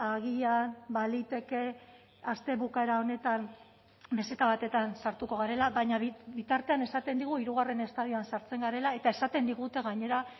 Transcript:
agian baliteke aste bukaera honetan meseta batetan sartuko garela baina bitartean esaten digu hirugarren estadioan sartzen garela eta esaten digute gainera